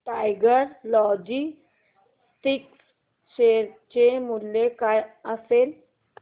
tiger logistics share चे मूल्य काय असेल